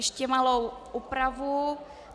- Ještě malou úpravu.